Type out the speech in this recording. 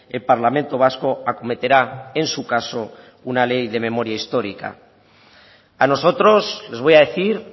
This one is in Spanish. el parlamento vasco acometerá en su caso una ley de memoria histórica a nosotros les voy a decir